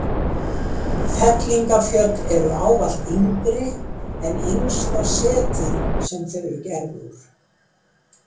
Fellingafjöll eru ávallt yngri en yngsta setið sem þau eru gerð úr.